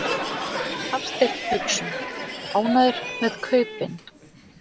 Hafsteinn Hauksson: Ánægður með kaupin?